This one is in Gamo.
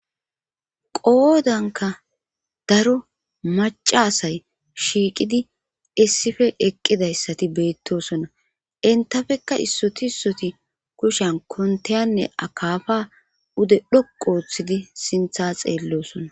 qoodanka daro macasay shiiqidi issife eqqidayssati beettosona intafekka issoti issoti kushan kontayanne akafa ude dhoqooththidi sintha xeellosona